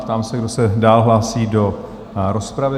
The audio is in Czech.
Ptám se, kdo se dál hlásí do rozpravy?